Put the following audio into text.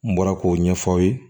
N bɔra k'o ɲɛfɔ aw ye